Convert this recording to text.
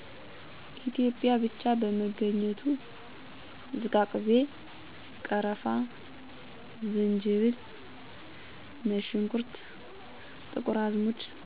ኢትዮጵያ ብቻ በመገኝቱ። ዝቃቅቤ፣ ቀርፍ፣ ዝንጂብል፣ ነጭ ሽንኩት፣ ጥቁር አዝሙድ።